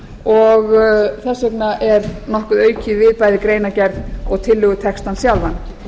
og þess vegna er nokkuð aukið við bæði í greinargerð og tillögutextann sjálfan